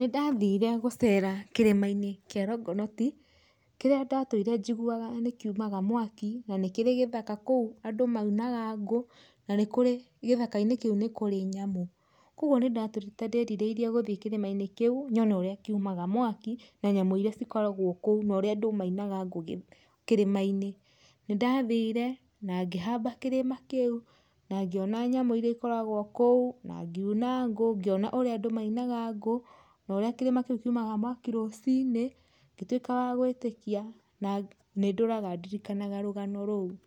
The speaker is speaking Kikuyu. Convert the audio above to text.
Nĩndathire gũcera kĩrĩmainĩ kĩa Longonot kĩrĩa ndatũire njiguaga nĩ kiũmaga mwaki na nĩkĩri gĩthaka kũu andũ maunaga ngũ, na gĩthakainĩ kĩũ nĩkũrĩ nyamũ, kwoguo nĩndatũrĩte ndĩrirĩire gũthĩi kĩrimainĩ kĩũ nyone ũrĩa kĩumaga mwaki na nyamũ irĩa ikoragwo kũu na ũrĩa andũ maũnaga ngũ kĩrĩmainĩ. Nĩndathire na ngĩhamba kĩrĩma kĩũ na ngĩona nyamũ irĩa ikoragwa kũu na ngiũna ngũ, na ngĩona ũrĩa maũnaga ngũ na ũrĩa kĩrĩma kĩũ kĩũmaga mwaki rũcinĩ, ngĩtuĩka wa gwĩtĩkia na nĩndũraga ndirikanaga rũgano rũu.